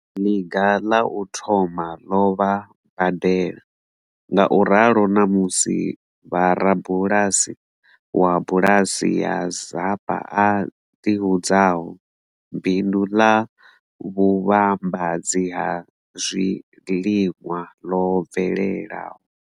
Ḽiga ḽa u thoma ḽo vha badela, ngauralo ṋamusi vha rabulasi wa bulasi ya Zapa a ḓihudzaho, bindu ḽa vhuvhambadzi ha zwiliṅwa ḽo bvelelaho.